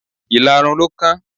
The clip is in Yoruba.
Ìlarun ló kán.